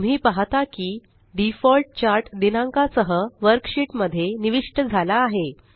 तुम्ही पाहता की डिफॉल्ट चार्ट दिनांका सह वर्कशीट मध्ये निविष्ट झाला आहे